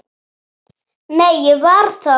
Nei, ég var þar